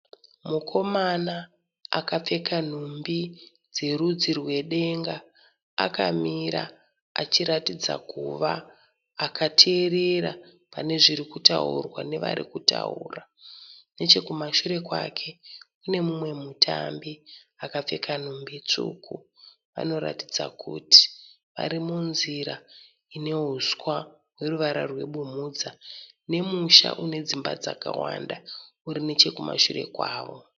Mukomana akapfeka dumbi dzerudzi rwedenga. Akamira achiratidza kuva akateerera pane zviri kutaurwa nevari kutaura. Nechekumashure kwake kune mumwe mutambi akapfeka nhumbi tsvuku. Vanoratidza kuti vari munzira ine huswa hweruvara rwebumhudza nemusha une dzimba dzakawanda uri nechekumashure kwavo.